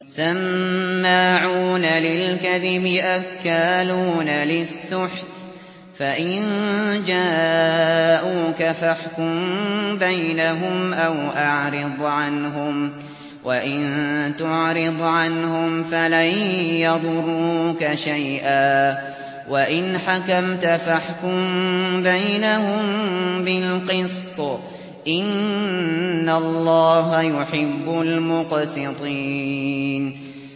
سَمَّاعُونَ لِلْكَذِبِ أَكَّالُونَ لِلسُّحْتِ ۚ فَإِن جَاءُوكَ فَاحْكُم بَيْنَهُمْ أَوْ أَعْرِضْ عَنْهُمْ ۖ وَإِن تُعْرِضْ عَنْهُمْ فَلَن يَضُرُّوكَ شَيْئًا ۖ وَإِنْ حَكَمْتَ فَاحْكُم بَيْنَهُم بِالْقِسْطِ ۚ إِنَّ اللَّهَ يُحِبُّ الْمُقْسِطِينَ